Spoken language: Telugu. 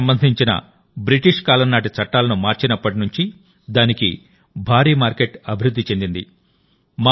వెదురుకు సంబంధించిన బ్రిటిష్ కాలంనాటి చట్టాలను మార్చినప్పటి నుండిదానికి భారీ మార్కెట్ అభివృద్ధి చెందింది